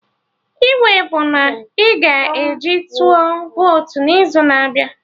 I wey bụ na ị ga-eji tụọ votu n'izu na-abịa